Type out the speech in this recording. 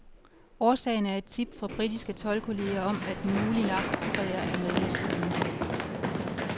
Årsagen er et tip fra britiske toldkolleger om, at en mulig narkokurer er med maskinen.